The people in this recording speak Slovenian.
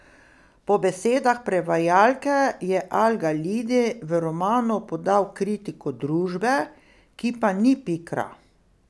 Po besedah prevajalke je Al Galidi v romanu podal kritiko družbe, ki pa ni pikra.